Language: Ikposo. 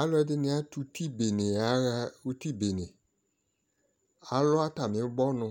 Alʋɛdini atʋ uti bene yaɣa uti bene Alʋ atami ʋbɔnʋ